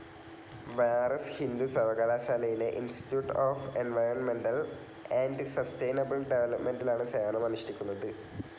ബനാറസ് ഹിന്ദു സർവ്വകലാശാലയിലെ institute of environmental and sustainable ഡെവലപ്പ്മെൻ്റിലാണ് സേവനം അനുഷ്ടിക്കുന്നത്.